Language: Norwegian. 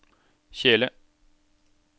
kjele